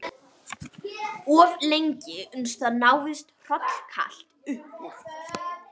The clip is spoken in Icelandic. Of lengi uns það náðist hrollkalt upp úr